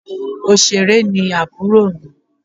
Òṣèré ni àbúrò mi.